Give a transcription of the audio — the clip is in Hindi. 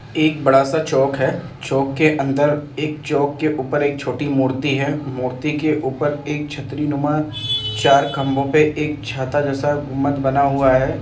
एक बड़ा सा चौक है। चौक के अंदर एक चौक ऊपर एक छोटी मूर्ति है मूर्ति के ऊपर एक छतरी नुमा चार खमबो पे एक छाता जैसा गुम्बद बना हुआ।